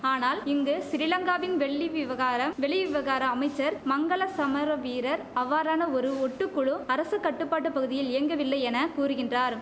ஆனால் இங்கு சிறிலங்காவின் வெள்ளி விவகாரம் வெளி விவகார அமைச்சர் மங்கள சமரவீரர் அவ்வாறான ஒரு ஒட்டுக்குழு அரச கட்டுப்பாட்டு பகுதியில் இயங்கவில்லை என கூறுகின்றார்